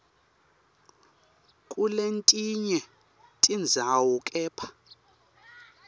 kuletinye tindzawo kepha